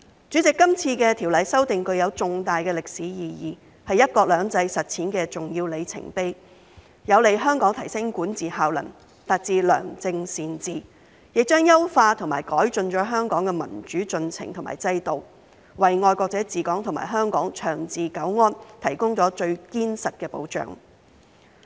主席，今次條例修訂具有重大歷史意義，是"一國兩制"實踐的重要里程碑，有利香港提升管治效能，達致良政善治，亦將優化和改進香港的民主進程和制度，為"愛國者治港"和香港長治久安提供了最堅實的保障。